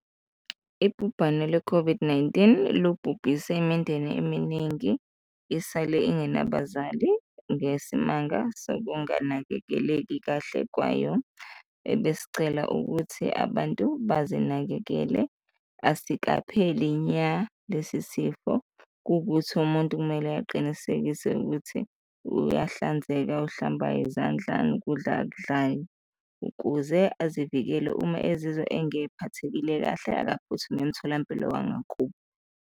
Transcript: Ibhubhane le-COVID-19 lubhubhise imindeni eminingi, isale ingena bazali ngesimanga sokunganakekeleki kahle kwayo, besicela ukuthi abantu bazinakekele, asikapheli nya lesi sifo. Kuwukuthi umuntu kumele aqinisekise ukuthi uyahlanzeka, uhlamba izandla nokudla akudlayo ukuze azivikele, uma ezizwa engephathekile kahle, akaphuthume emtholampilo wangakubo.